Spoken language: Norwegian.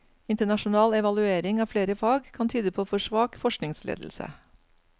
Internasjonal evaluering av flere fag kan tyde på for svak forskningsledelse.